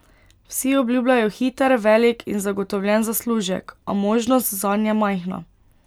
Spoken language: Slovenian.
Vsi obljubljajo hiter, velik in zagotovljen zaslužek, a možnost zanj je majhna.